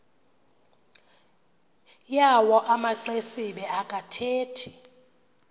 yawo amaxesibe akathethi